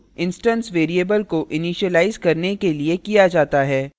constructor का उपयोग instance variables को इनिशिलाइज करने के लिए किया जाता है